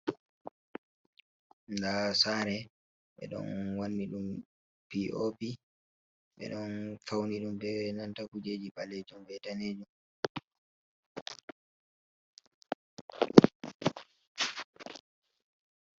Nda sare ɓeɗon wanni ɗum p o p ɓe ɗon fauni ɗum be nanta kujeji ɓalejum benanta danejum.